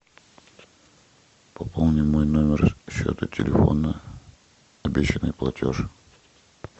пополни мой номер счета телефона обещанный платеж